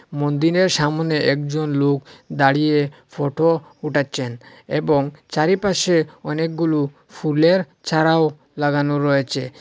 মন্দিরের সামোনে একজন লোক দাঁড়িয়ে ফটো ওঠাচ্ছেন এবং চারিপাশে অনেকগুলো ফুলের চারাও লাগানো রয়েছে।